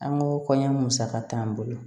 An ko kɔɲɔ musaka t'an bolo